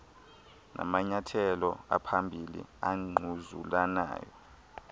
namanyathelo aphambili angquzulanayo